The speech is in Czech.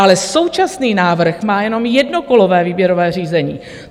Ale současný návrh má jenom jednokolové výběrové řízení.